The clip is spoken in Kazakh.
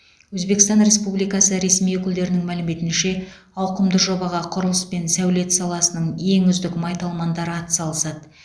өзбекстан республикасы ресми өкілдерінің мәліметінше ауқымды жобаға құрылыс пен сәулет саласының ең үздік майталмандары атсалысады